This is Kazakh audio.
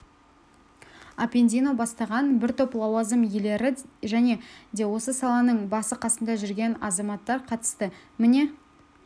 аппендино бастаған бір топ лауазым иелері және де осы саланың басы-қасында жүрген азаматтар қатысты міне